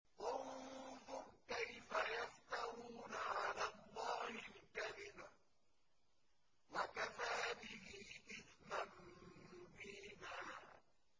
انظُرْ كَيْفَ يَفْتَرُونَ عَلَى اللَّهِ الْكَذِبَ ۖ وَكَفَىٰ بِهِ إِثْمًا مُّبِينًا